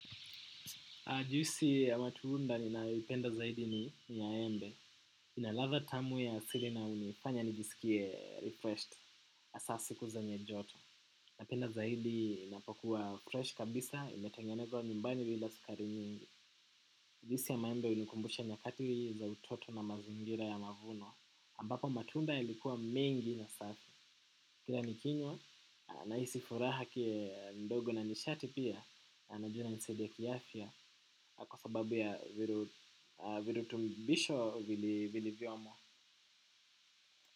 Juisi ya matuunda ninayoipenda zaidi ni ya embe. Ina latha tamu ya asili na unifanya nijisikie refreshed hasa siku zenye joto. Napenda zaidi inapokuwa crush kabisa, imetengenezwa nyumbani bila sukari nyingi. Juisi ya maembe unikumbusha nyakatili za utoto na mazingira ya mavuno. Ambapo matunda yalikuwa mengi na safi. Kila nikinywa nahisi furaha kindogo na nishati pia na najua inanisaidia kiafya kwa sababu ya virutubisho vilivyomo.